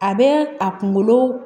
A bɛ a kunkolo